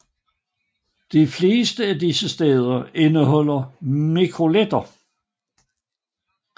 De fleste af disse steder indeholder mikroletter